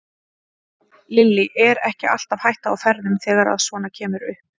Lillý: Er ekki alltaf hætta á ferðum þegar að svona kemur upp?